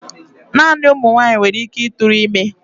Naanị ụmụ nwanyị nwere ike ịtụrụ ime.